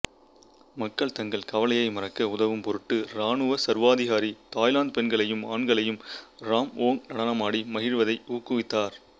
மக்கள் தங்கள் கவலையை மறக்க உதவும் பொருட்டு இராணுவ சர்வாதிகாரி தாய்லாந்து பெண்களையும் ஆண்களையும் ராம்வோங் நடனமாடி மகிழ்வதை ஊக்குவித்தார்